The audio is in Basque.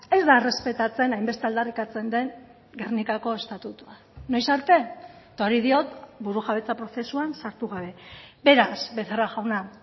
ez da errespetatzen hainbeste aldarrikatzen den gernikako estatutua noiz arte eta hori diot burujabetza prozesuan sartu gabe beraz becerra jauna